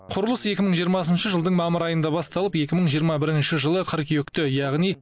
құрылыс екі мың жиырмасыншы жылдың мамыр айында басталып екі мың жиырма бірінші жылы қыркүйекте яғни